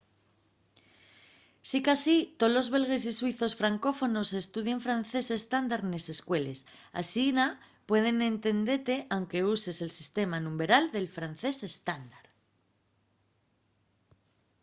sicasí tolos belgues y suizos francófonos estudien francés estándar nes escueles asina pueden entendete anque uses el sistema numberal del francés estándar